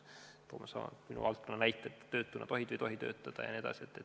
Toome minu valdkonnast näiteks selle, kas töötuna tohid või ei tohi töötada jne.